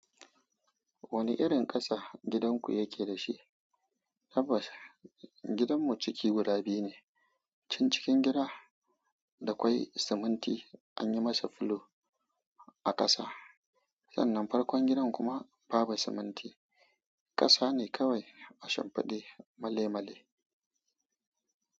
Wani irin ƙasa gidanku yake da shi? Tabbas gidanmu ciki guda biyu ne. Can cikin gida da kwai siminti an yi masa fulo a ƙasa. Sannan farkon gidan kuma ba bu siminti, ƙasa ne kawai a shamfaɗe male-male.